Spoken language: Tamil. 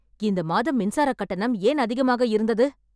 இந்த மாதம் மின்சார கட்டணம் ஏன் அதிகமாக இருந்தது